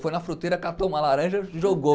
Foi na fruteira, catou uma laranja, jogou.